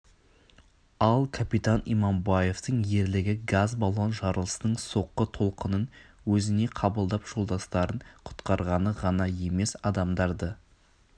ал капитан иманбаевтың ерлігі газ баллон жарылысының соққы толқынын өзіне қабылдап жолдастарын құтқарғаны ғана емес адамдарды